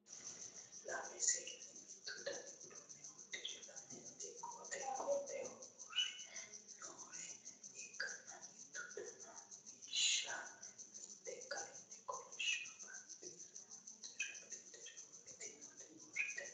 Lame seenni mittu dani uddano uddire lamenti qote qoteho uurre noore ikkanna mitte dana biishsha mitte kayii kolisho baxanxure wodhitinoti uurre no